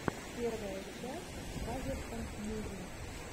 первая часть фазерсон муви